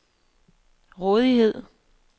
rådighed